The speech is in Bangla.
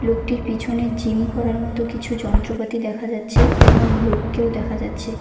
লোকটির পিছনে জিম করার মতো কিছু যন্ত্রপাতি দেখা যাচ্ছে এবং লোককেও দেখা যাচ্ছে।